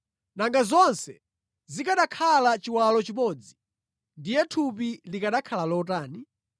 Nanga zonse zikanakhala chiwalo chimodzi, ndiye thupi likanakhala lotani?